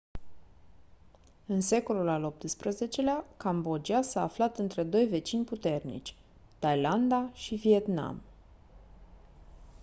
în secolul al xviii-lea cambodgia s-a aflat între doi vecini puternici thailanda și vietnam